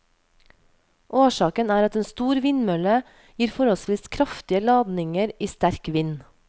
Årsaken er at en stor vindmølle gir forholdsvis kraftige ladninger i sterk vind.